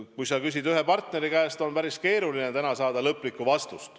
Kui sa küsid vaid ühe koalitsioonipartneri käest, siis on päris keeruline täna öelda nende lõplikku otsust.